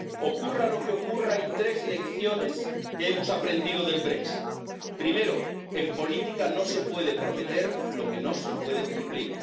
Ocurra lo que ocurra hay tres lecciones que hemos aprendido del Brexit primero, en política no se puede prometer lo que no se puede cumplir